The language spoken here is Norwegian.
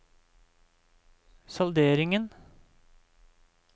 salderingen